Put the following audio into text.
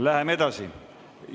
Läheme edasi.